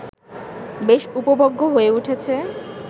বেশ উপভোগ্য হয়ে উঠেছে